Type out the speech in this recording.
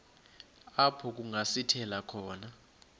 apho kungasithela khona